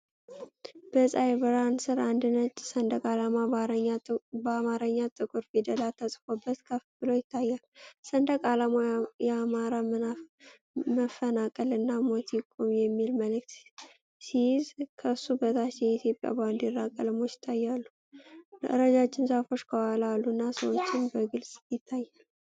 በፀሐይ ብርሃን ስር አንድ ነጭ ሰንደቅ ዓላማ በአማርኛ ጥቁር ፊደላት ተጽፎበት ከፍ ብሎ ይታያል። ሰንደቅ ዓላማው "የአማራ መፈናቀል እና ሞት ይቁም" የሚል መልእክት ሲይዝ፤ ከሱ በታች የኢትዮጵያ ባንዲራ ቀለሞች ይታያሉ። ረጃጅም ዛፎች ከኋላ አሉና ሰዎችም በግልጽ ይታያሉ።